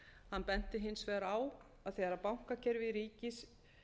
hann benti hins vegar á að þegar bankakerfi ríkis